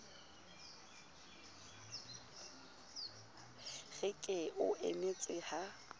re ke o emetse ha